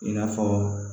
I n'a fɔ